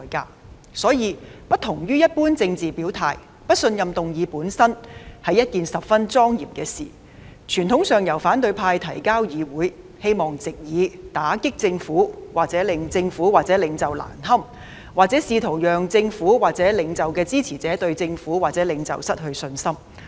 因此，有別於一般政治表態，不信任議案本身是一件十分莊嚴的事，傳統上由反對派向議會提交，希望藉以打擊政府或令政府或領袖難堪，又或試圖令政府或領袖的支持者對政府或領袖失去信心。